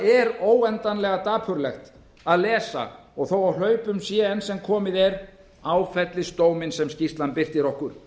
er óendanlega dapurlegt að lesa og þó á hlaupum sé enn sem komið er áfellisdóminn sem skýrslan birtir okkur